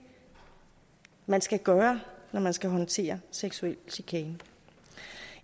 man skal gøre når man skal håndtere seksuel chikane